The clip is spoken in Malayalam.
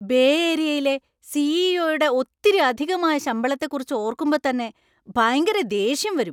ബേ ഏരിയയിലെ സി. ഇ. ഒ.യുടെ ഒത്തിരി അധികമായ ശമ്പളത്തെ കുറിച്ച് ഓർക്കുമ്പോ തന്നെ ഭയങ്കര ദേഷ്യം വരും.